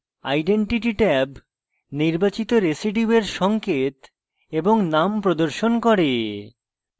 identity tab নির্বাচিত রেসিডিউয়ের সঙ্কেত এবং name প্রদর্শন করে